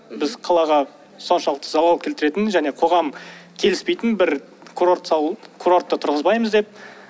біз қалаға соншалықты залал келтіретін және қоғам келіспейтін бір курортты салу курортты тұрғызбаймыз деп